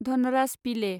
धनराज पिले